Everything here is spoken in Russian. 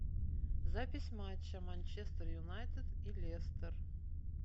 запись матча манчестер юнайтед и лестер